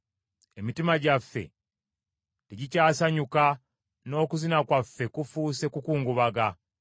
Emitima gyaffe tegikyasanyuka, n’okuzina kwaffe kufuuse kukungubaga.